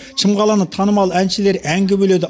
шымқаланы танымал әншілер әнге бөледі